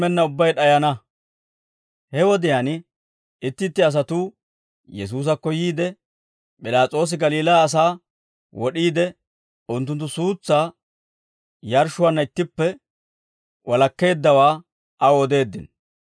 He wodiyaan itti itti asatuu Yesuusakko yiide P'ilaas'oosi Galiilaa asaa wod'iide unttunttu suutsaa yaarshshuwaanna ittippe walakkeeddawaa aw odeeddino.